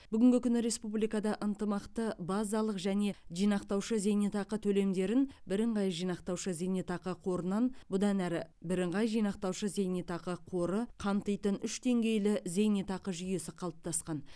бүгінгі күні республикада ынтымақты базалық және жинақтаушы зейнетақы төлемдерін бірыңғай жинақтаушы зейнетақы қорынан бұдан әрі бірыңғай жинақтаушы зейнетақы қоры қамтитын үш деңгейлі зейнетақы жүйесі қалыптасқан